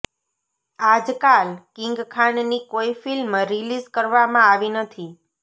આજકાલ કિંગ ખાનની કોઈ ફિલ્મ રિલીઝ કરવામાં આવી નથી